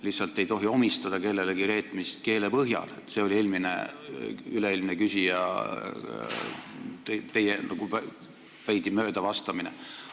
Lihtsalt ei tohi omistada kellelegi reetmist keele põhjal – see oli teie veidi mööda vastamine üle-eelmisele küsijale.